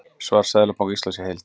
Svar Seðlabanka Íslands í heild